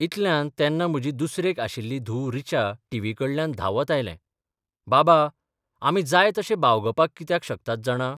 इतल्यांत तेन्ना म्हजी दुसरेक आशिल्ली धूव ऋचा टीव्ही कडल्यान धांबत आयलेंः 'बाबा, आमी जाय तशे बागोवपाक कित्याक शकतात जाणा?